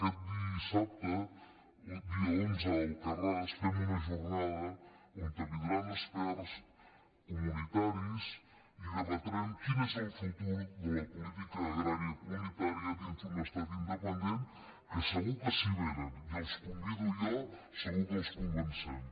aquest dissabte dia onze a alcarràs fem una jornada on vindran experts comunitaris i deba·trem quin és el futur de la política agrària comunità·ria dins d’un estat independent que segur que si vé·nen i els convido jo segur que els convencem